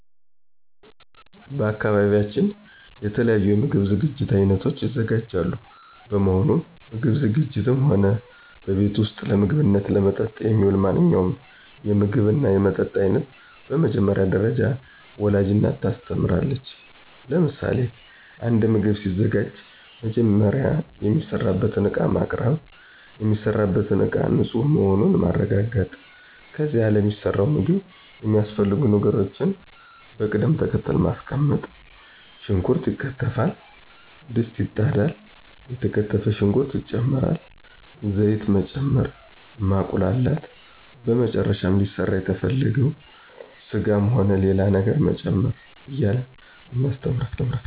በአካባቢያችን የተለያዩ የምግብ ዝግጅት አይነቶች ይዘጋጃሉ በመሆኑም ምግብ ዝግጂትም ሆነ በቤት ውስጥ ለምግብነትና ለመጠጥ የሚውል ማንኛውንም የምግብና የመጠጥ አይነት በመጀመሪያ ደረጃ ወላጅ እናት ታስተምራለች ለምሳሌ፦ አንድ ምግብ ሲዘጋጅ መጀመሪያ የሚሰራበትን እቃ ማቅርብ፣ የሚሰራበትን እቃ ንፁህ መሆኑን ማረጋገጥ ከዚያ ለሚሰራው ምግብ የሚያስፈልጉ ነገሮችን በቅድም ተከተል ማስቀመጥ ሽንኩርት ይከተፋል፣ ድስት ይጣዳል፣ የተከተፈ ሽንኩርት ይጨመራል፣ ዘይት መጨመር፣ ማቁላላት በመጨረሻም ሊሰራ የተፈለገውን ስጋም ሆነ ሌላ ነገር መጨመር እያልን እናስተምራለን።